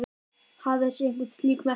Hafið þið séð einhver slík merki?